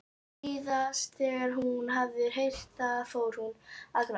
Síðast þegar hún hafði heyrt það fór hún að gráta.